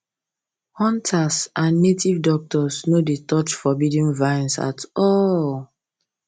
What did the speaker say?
hunters and native doctors no dey touch forbidden vines at all